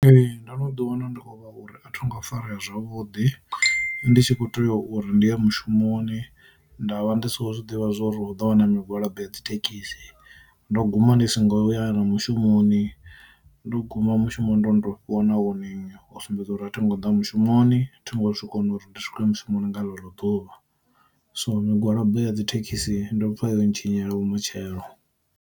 Ee ndo no ḓi wana ndi kho vha uri a thonga farea zwavhuḓi, ndi tshi kho tea uri ndi ye mushumoni nda vha ndi si kho zwi ḓivha zwa uri u ḓo wana migwalabo ya dzithekhisi. Ndo guma ndi songo ya mushumoni ndo guma mushumo ndo ndo fhiwa na warning u sumbedza uri a thi ngo ḓa mushumoni thi ngo kona zwi kona uri ndi swike mushumoni nga ḽe ḽo ḓuvha. So migwalabo ya dzithekhisi ndo pfa yo ntshinyela vhumatshelo.